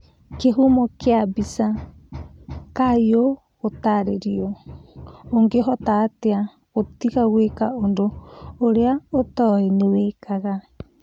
Kĩhumo kĩa mbica, Kayũ gũtarĩrio, ũngĩhota atĩa gũtiga gwĩka ũndũ ũrĩa ũtoĩ nĩwĩkaga?